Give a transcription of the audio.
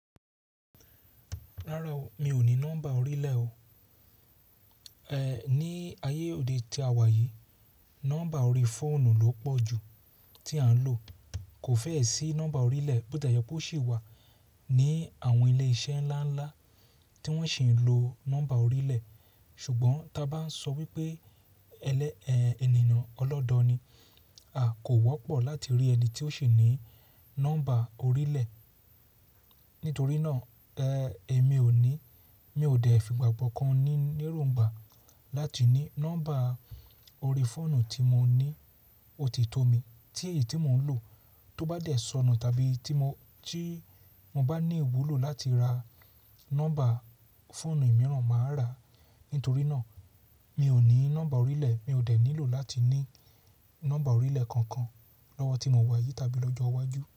Rárá o, mi ò ní nọ́mbà orílẹ̀ o. Ẹ̀, ní ayé òde tí a wà yìí, nọ́mbà orí fóònù ló pọ̀ jù tí a ń lò. Kò fẹ́ẹ̀ sí nọ́mbà orílẹ̀, bó dá yọ pé ó sì wà ní àwọn ilé iṣẹ́ ńlá ńlá tí wọ́n sì ń lo nọ́mbà orílẹ̀. Ṣùgbọ́n bá ń sọ wípé ẹlẹ́ ẹ̀, ènìyàn ọlọ́dọọ̀ ni, a kò wọ́pọ̀ láti rí ẹni tí ó sì ní nọ́mbà orílẹ̀. Nítorí náà, ẹ́, èmi ò ní, mi ò dẹ̀ fi ìgbà kankan ní níróńgbà láti ní nọ́mbà orí fóònù tí mo ní, ó ti tó mi. Tí èyí tí mò ń lò, tó bá dẹ̀ sọnù tàbí tí mo, tí mo bá ní ìwúlò láti ra nọ́mbà fóònù mìíràn, màá rà á. Nítorí náà, mi ò ní nọ́mbà orílẹ̀, mi ò dẹ̀ nílò láti ní nọ́mbà orílẹ̀ kankan lọ́wọ́ tí mò ń wà yìí tàbí lọ́jọ́ iwájú.